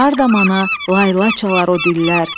Harda mana layla çalar o dillər?